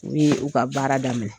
U bi u ka baara daminɛ.